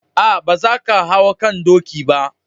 Aa, ba za kan hau kan doki ba.